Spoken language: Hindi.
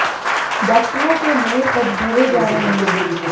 डाक्टरों के नए पद भरे जा रहे हैं